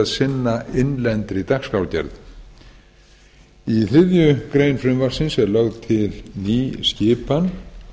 sinna innlendri dagskrárgerð í þriðju greinar frumvarpsins er lögð til ný skipan